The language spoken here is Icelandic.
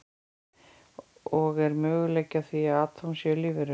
Og er möguleiki á því að atóm séu lífverur?